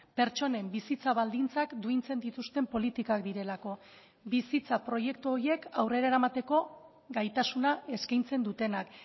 pertsonen bizitza baldintzak duintzen dituzten politikak direlako bizitza proiektu horiek aurrera eramateko gaitasuna eskaintzen dutenak